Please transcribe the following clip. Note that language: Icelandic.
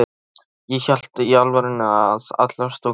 Ég hélt í alvörunni að allar stúlkur á